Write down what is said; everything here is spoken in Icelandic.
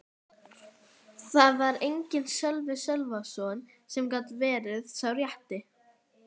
Þar var enginn Sölvi Sölvason sem gat verið sá rétti.